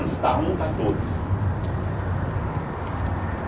Onde está um, está todos.